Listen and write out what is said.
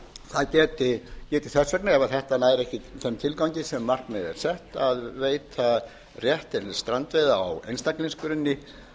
það geti þess vegna ef þetta næði ekki þeim tilgangi sem markmiðið er sett að veita rétt til strandveiða á einstaklingsgrunni